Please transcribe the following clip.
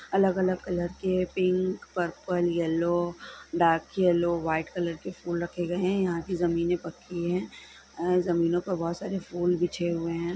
अलग अलग कलर के pink purple yellow dark yellow white colour के फूल रखे गए है| यहाँ की जमीनें पक्की है | अ जमीनों पर बहुत सारे फूल बिछे हुए है ।